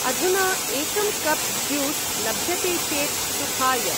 अधुना एकं cup juice लभ्यते चेत् सुखाय।